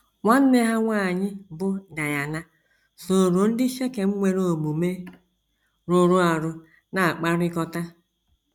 Nwanne ha nwanyị bụ́ Daịna sooro ndị Shekem nwere omume rụrụ arụ na - akpakọrịta.